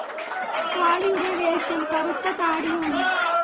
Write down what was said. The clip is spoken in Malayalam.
കാളിയുടെ വേഷം കറുത്ത താടിയാണ്.